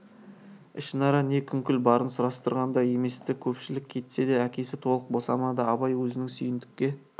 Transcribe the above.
ішінара не күңкіл барын сұрастырған да емес-ті көпшілік кетсе де әкесі толық босамады абай өзінің сүйіндікке